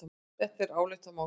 Þetta er álitamál.